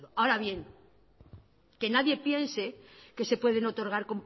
absurdo ahora bien que nadie piense que se pueden otorgar